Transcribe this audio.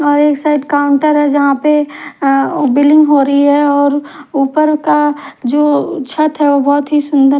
और एक side counter है जहां पे अह बिलिंग हो रही है और ऊपर का जो छत है वो बहुत ही सुंदर--